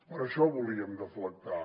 per això volíem deflactar